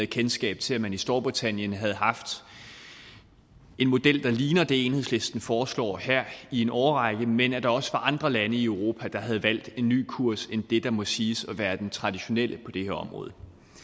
kendskab til at man i storbritannien havde haft en model der ligner det enhedslisten foreslår her i en årrække men at der også var andre lande i europa der havde valgt en ny kurs end det der må siges at være den traditionelle på det her område